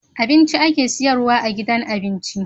Abinci ake siyarwa a gidan abinci